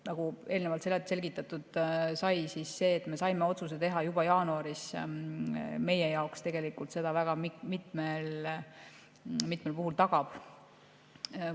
Nagu eelnevalt selgitatud sai, see, et me saime otsuse teha juba jaanuaris, meie jaoks seda tegelikult väga mitmel puhul tagab.